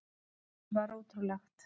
Lífið var ótrúlegt.